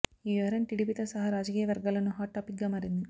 ఈ వ్యవహారం టీడీపీతో సహా రాజకీయ వర్గాల్లోనూ హాట్ టాపిక్గా మారింది